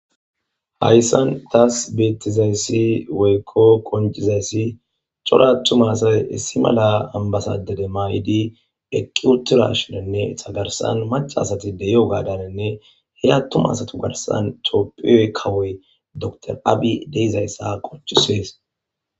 hayssan taas beettizayssi woykko qoncizayssi cora attumasay issi mala ambasade de mayidi eqqi uturashinenne hagarsan macca asati deye7o gaadarenne hey attumasatu garsan toopphiyoy kawoy dr abhi deizayssa qoncisees.